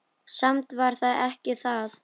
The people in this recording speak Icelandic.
Samt var það ekki það.